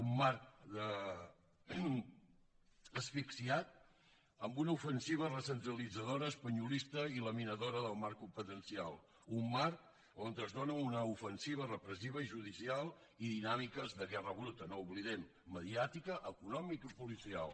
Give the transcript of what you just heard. un marc asfixiat amb una ofensiva recentralitzadora espanyolista i laminadora del marc competencial un marc on es dóna una ofensiva repressiva i judicial i dinàmiques de guerra bruta no ho oblidem mediàtica econòmica i policial